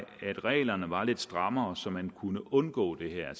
reglerne var lidt strammere så man kunne undgå det her